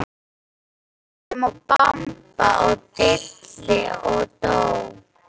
Bíum og bamba og dilli og dó.